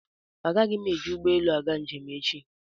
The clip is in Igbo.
Agaghị m eji ụgbọelu aga njem echi.